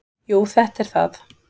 """Jú, þetta er það."""